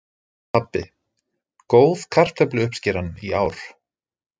Pabbi: Góð kartöfluuppskeran í ár.